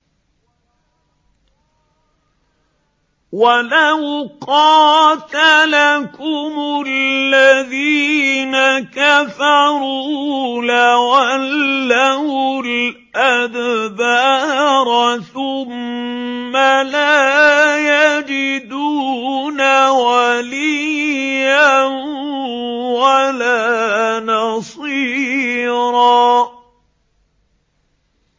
وَلَوْ قَاتَلَكُمُ الَّذِينَ كَفَرُوا لَوَلَّوُا الْأَدْبَارَ ثُمَّ لَا يَجِدُونَ وَلِيًّا وَلَا نَصِيرًا